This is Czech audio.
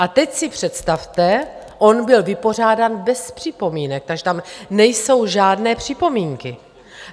A teď si představte, on byl vypořádán bez připomínek, takže tam nejsou žádné připomínky.